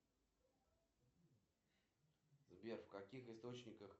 афина какие виды рамбов ты знаешь